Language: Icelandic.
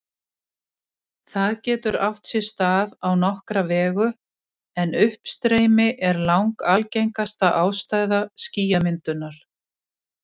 Það getur átt sér stað á nokkra vegu, en uppstreymi er langalgengasta ástæða skýjamyndunar.